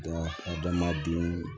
denw